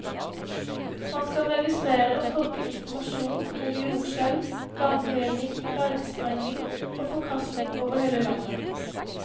Man skal registrere og tolke informasjon om jordskjelv, landhevning, bergsprengning og forkastning over hele landet.